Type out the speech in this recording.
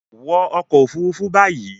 wọnú ọkọ òfurufú bayí!